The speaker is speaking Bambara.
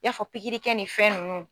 y'a fɔ pikirikɛ nin fɛn ninnu.